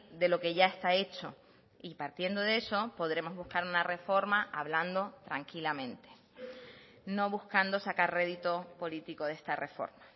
de lo que ya está hecho y partiendo de eso podremos buscar una reforma hablando tranquilamente no buscando sacar rédito político de esta reforma